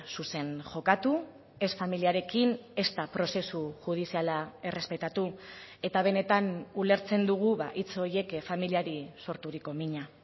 zuzen jokatu ez familiarekin ezta prozesu judiziala errespetatu eta benetan ulertzen dugu hitz horiek familiari sorturiko mina